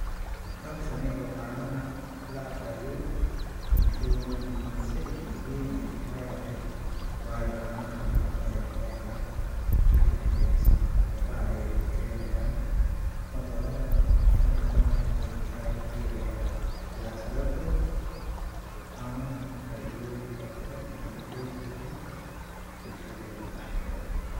Hawshani oo canaha la cabaayo ,bulshadeena muhiimad zaaid weyn ayeey ku leedahay ,waayo caanaha nafaqa ayaa laga helaa ,jirka ayeey dhisaan ,lafaha ayeey adkeynayaan ,cudurada fara badan na weey kaa reebayaan ,sidaasi darteed caanaha faaidooyin fara badan ayey u leeyihiin bulshadeena dhaxdeeda .